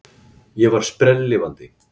Ég var sprelllifandi.